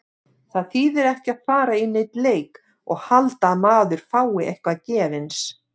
Það þýðir ekki að fara í neinn leik og halda að maður fái eitthvað gefins.